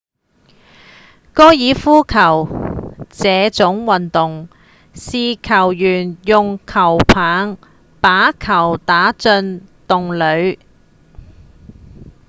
高爾夫球這種運動是球員用球桿把球打進洞裡